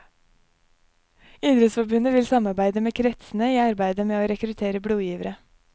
Idrettsforbundet vil samarbeide med kretsene i arbeidet med å rekruttere blodgivere.